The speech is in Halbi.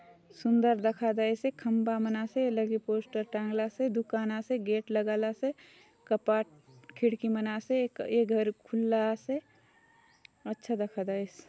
सुंदर दखा देयसे खम्बा मन आसे ए लगे पोस्टर टांगला से दुकान आसे गेट लगाला से कपाट खिड़की मन आसे ये घर खुला आसे अच्छा दखा देयसे।